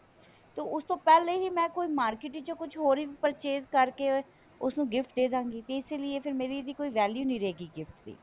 ਤੇ ਉਸ ਤੋਂ ਪਹਿਲਾਂ ਹੀ ਮੈਂ ਕੋਈ market ਵਿੱਚੋ ਕੁੱਝ ਹੋਰ purchase ਕਰਕੇ ਉਸ ਨੂੰ gift ਦੇਦਾਂਗੀ ਤੇ ਇਸ ਲਈ ਮੇਰੀ ਇਹਦੀ ਕੋਈ value ਨਹੀਂ ਰਹੇਗੀ gift ਦੀ